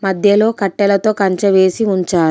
మధ్యలో కట్టెలతో కంచె వేసి ఉంచారు.